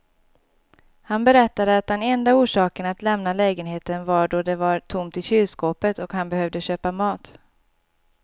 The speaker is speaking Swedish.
Han berättade att den enda orsaken att lämna lägenheten var då det var tomt i kylskåpet och han behövde köpa mat.